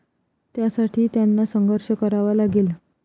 त्यासाठी त्यांना संघर्ष करावा लागेल.